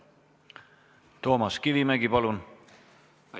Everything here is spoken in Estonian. Toomas Kivimägi, palun!